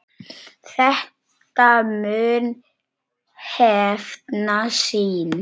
Þetta mun hefna sín.